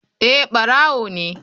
Eh barawo ne.